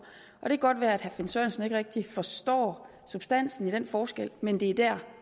og det kan godt være at herre finn sørensen ikke rigtig forstår substansen i den forskel men det er der